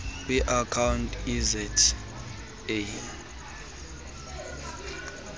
kwi account eza